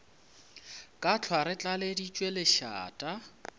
ka hlwa re tlaleditšwe lešata